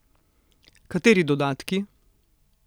Kateri dodatki?